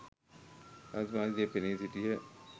රජතුමා ඉදිරියේ පෙනී සිටියහ.